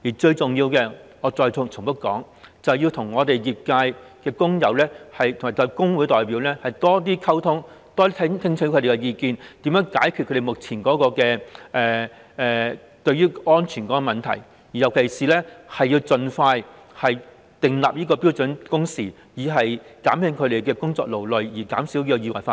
最重要的是——我要再重複指出——政府應該與業界工友及工會代表多多溝通，多些聽取他們的意見，看看怎樣解決目前的安全問題，特別是應該盡快訂定標準工時，減輕工友對工作的勞累，從而減少意外發生。